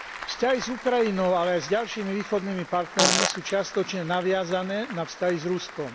Vzťahy s Ukrajinou, ale aj s ďalšími východnými partnermi sú čiastočne naviazané na vzťahy s Ruskom.